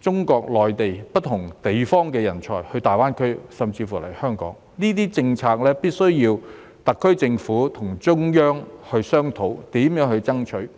中國內地不同地方的人才到大灣區甚至香港，這些政策必須由特區政府與中央商討並爭取。